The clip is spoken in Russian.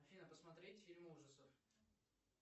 афина посмотреть фильм ужасов